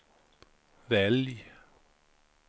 välj